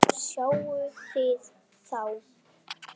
Sáuð þið þá?